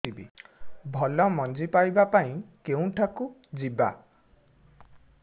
ଭଲ ମଞ୍ଜି ପାଇବା ପାଇଁ କେଉଁଠାକୁ ଯିବା